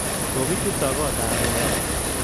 Kokichuto kotab chorik